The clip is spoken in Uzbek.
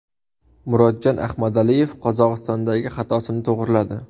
Murodjon Ahmadaliyev Qozog‘istondagi xatosini to‘g‘riladi.